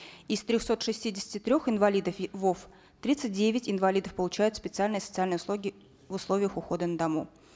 из трехсот шестидесяти трех инвалидов вов тридцать девять инвалидов получают специальные социальные услуги в условиях ухода на дому